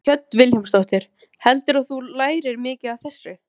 Hödd Vilhjálmsdóttir: Heldurðu að þú lærir mikið af þessu?